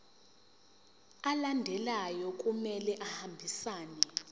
alandelayo kumele ahambisane